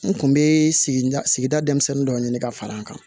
N kun be sigida sigida denmisɛnnin dɔ ɲini ka fara n kan